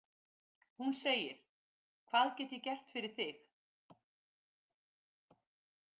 Hún segir: Hvað get ég gert fyrir þig?